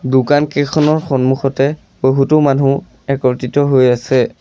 দোকানকেইখনৰ সন্মুখতে বহুতো মানুহ একত্ৰিত হৈ আছে।